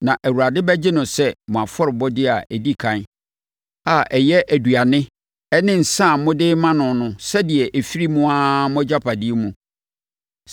Na Awurade bɛgye no sɛ mo afɔrebɔdeɛ a ɛdi ɛkan a ɛyɛ aduane ne nsã a mode rema no sɛdeɛ ɛfiri mo ara mo agyapadeɛ mu.